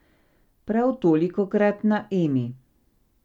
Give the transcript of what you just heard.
Prav tolikokrat na Emi.